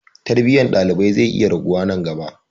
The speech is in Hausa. Tarbiyyar ɗalibai zai iya raguwa nan gaba.